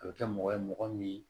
A bɛ kɛ mɔgɔ ye mɔgɔ min